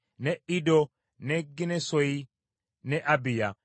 ne Iddo, ne Ginnesoyi, ne Abiya,